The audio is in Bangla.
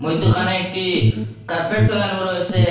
মইধ্যখানে একটি কার্পেট ফেলানো রয়েসে ।